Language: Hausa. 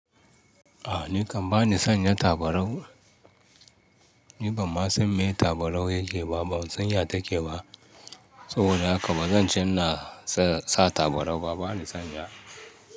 A ni kam bani san ya tabarau. Ni bama sun maye tabarau yake ba, ba sun ya take ba. Saboda haka bazan cena sa tabarau ba, bana san ya.